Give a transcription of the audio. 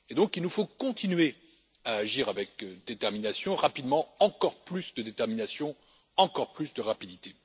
Il nous faut donc continuer à agir avec détermination et rapidement, avec encore plus de détermination, encore plus de rapidité.